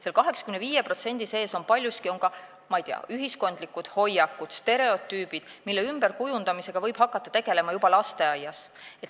Selle 85% sees on paljuski, ma ei tea, ühiskondlikud hoiakud, stereotüübid, mille ümberkujundamisega võib hakata tegelema juba lasteaias.